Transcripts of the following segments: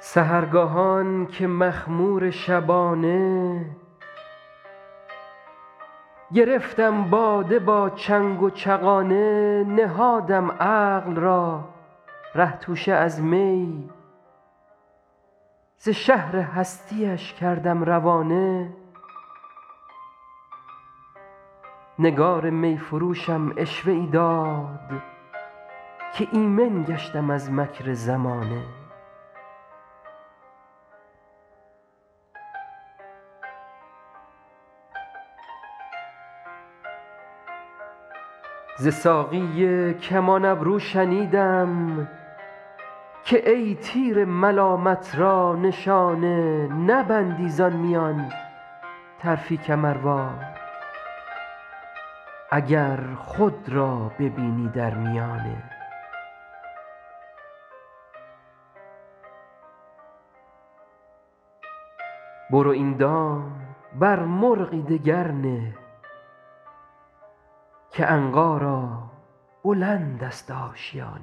سحرگاهان که مخمور شبانه گرفتم باده با چنگ و چغانه نهادم عقل را ره توشه از می ز شهر هستی اش کردم روانه نگار می فروشم عشوه ای داد که ایمن گشتم از مکر زمانه ز ساقی کمان ابرو شنیدم که ای تیر ملامت را نشانه نبندی زان میان طرفی کمروار اگر خود را ببینی در میانه برو این دام بر مرغی دگر نه که عنقا را بلند است آشیانه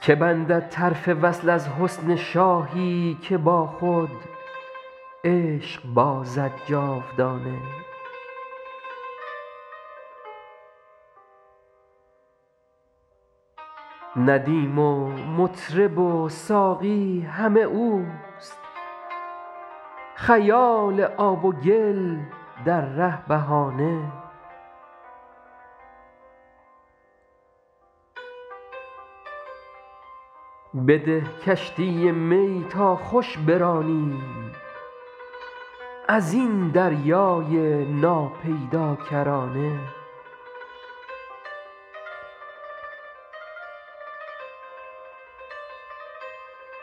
که بندد طرف وصل از حسن شاهی که با خود عشق بازد جاودانه ندیم و مطرب و ساقی همه اوست خیال آب و گل در ره بهانه بده کشتی می تا خوش برانیم از این دریای ناپیداکرانه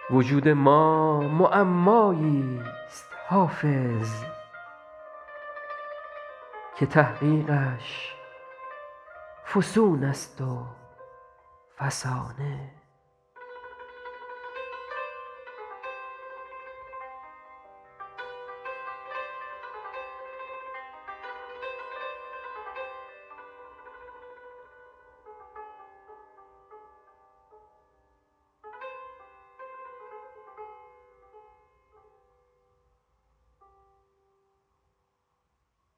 وجود ما معمایی ست حافظ که تحقیقش فسون است و فسانه